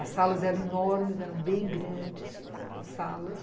As salas eram enormes, eram bem grandes as salas.